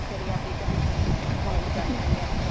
சரி அப்டியே join பண்ணிருலா வந்து join பண்ணியாச்சு